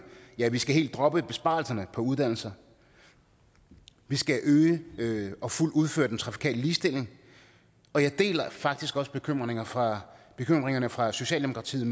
ja vi skal helt droppe besparelserne på uddannelser vi skal øge og fuldt udføre den trafikale ligestilling og jeg deler faktisk også bekymringerne fra bekymringerne fra socialdemokratiets